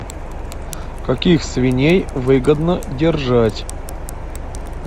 каких свиней выгодно держать